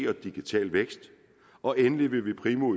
og digital vækst og endelig vil vi primo